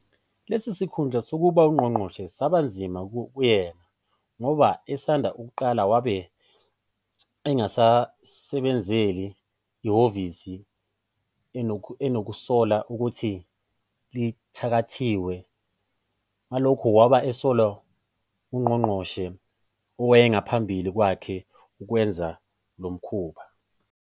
Lesi sikhundla sokuba ngungqonqoshe saba nzima kuyena, ngoba esanda kuqala wabe engasebenzeli ehhovisi enokusola ukuthi lithathakathiwe, nagaloku waba esola ungonqongqoshe owayengaphambi kwake ukwenzeni lomkhuba.